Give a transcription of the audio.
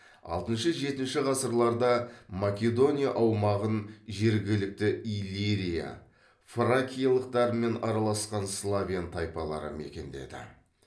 алтыншы жетінші ғасырларда македония аумағын жергілікті иллирия фракиялықтармен араласқан славян тайпалары мекендеді